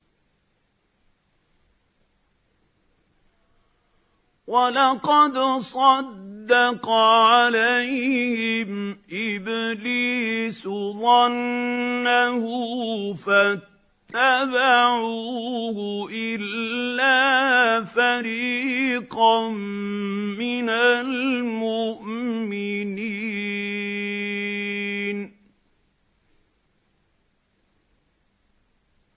وَلَقَدْ صَدَّقَ عَلَيْهِمْ إِبْلِيسُ ظَنَّهُ فَاتَّبَعُوهُ إِلَّا فَرِيقًا مِّنَ الْمُؤْمِنِينَ